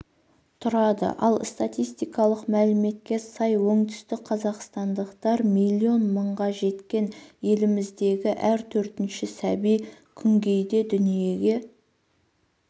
тұрады ал статистикалық мәліметке сай оңтүстікқазақстандықтар миллион мыңға жеткен еліміздегі әр төртінші сәби күнгейде дүниеге